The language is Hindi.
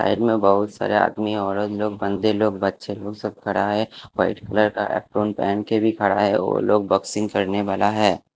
साइड में बहोत सारे आदमी औरत लोग बंदे लोग बच्चे लोग सब खड़ा है व्हाइट कलर का एप्रोन पेहन के भी खड़ा है वो लोग बॉक्सिंग करने वाला है।